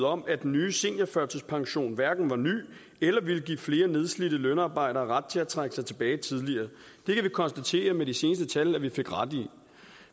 om at den nye seniorførtidspension hverken var ny eller ville give flere nedslidte lønarbejdere ret til at trække sig tilbage tidligere det kan vi konstatere med de seneste tal at vi fik ret i